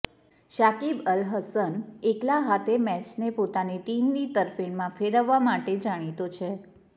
શાકિબ અલ હસન એકલા હાથે મેચને પોતાની ટીમની તરફેણમાં ફેરવવા માટે જાણીતો છે